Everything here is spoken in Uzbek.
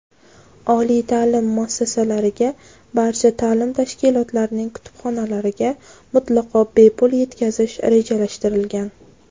oliy ta’lim muassasalariga — barcha ta’lim tashkilotlarining kutubxonalariga mutlaqo bepul yetkazish rejalashtirilgan.